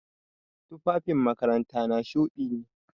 Tufafin makarantana shuɗi ne.